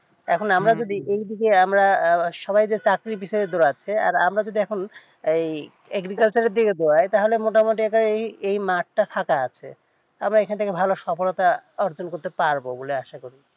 এখন আমরা যদি এই দিকে আমরা সবাই চাকরির দিকে দৌড়াচ্ছে আমরা যদি এখন এই agriculture দিকে দৌড়ায় তাহলে মোটামুটি এই মাঠটা ফাঁকা আছে আমরা এখন থেকে ভালো সফলতা অর্জন করতে পারবো বলে আসা করি